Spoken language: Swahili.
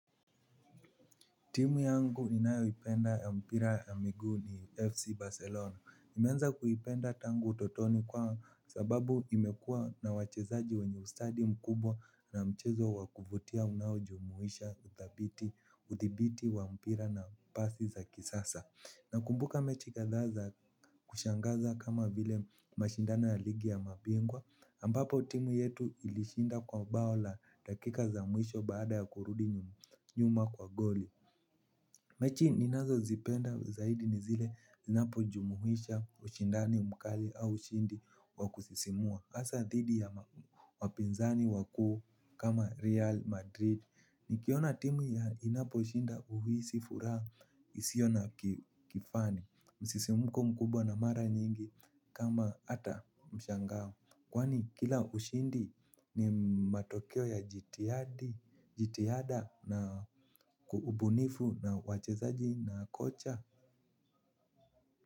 Timu yangu ninayo ipenda ya mpira ya miguu ni FC Barcelona. Nimeanza kuipenda tangu utotoni kwa sababu imekuwa na wachezaji wenye ustadi mkubwa na mchezo wa kuvutia unaojomuisha uthibiti wa mpira na pasi za kisasa. Nakumbuka mechi kadhaa za kushangaza kama vile mashindano ya ligi ya mabingwa, ambapo timu yetu ilishinda kwa bao la dakika za mwisho baada ya kurudi nyuma kwa goli. Mechi ninazozipenda zaidi ni zile zinapojumuhisha ushindani mkali au ushindi wa kusisimua. Hasa thidi ya wapinzani wakuu kama Real Madrid. Nikiona timu ya inaposhinda uhisi furaha isiyo na kifani. Msisimuko mkubwa na mara nyingi kama hata mshangao. Kwani kila ushindi ni matokeo ya jitihada na ubunifu na wachezaji na kocha.